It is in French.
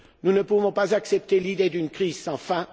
Nous ne pouvons pas accepter l'idée d'une crise sans